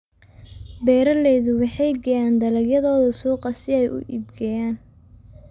Beeraleydu waxay geeyaan dalagyadooda suuqa si ay u iibgeeyaan.